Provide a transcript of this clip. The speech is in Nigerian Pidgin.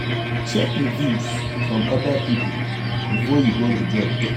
Check reviews from oda pipo before you go di joint